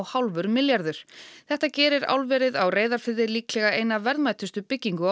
komma fimm milljarðar þetta gerir álverið á Reyðarfirði líklega eina verðmætustu byggingu á